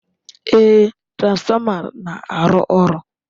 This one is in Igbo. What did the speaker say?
Ee, transformer na-arụ ọrụ.